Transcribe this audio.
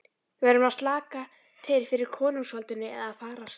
Við verðum að slaka til fyrir konungsvaldinu eða farast.